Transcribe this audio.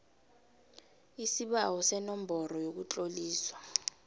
isibawo senomboro yokutloliswa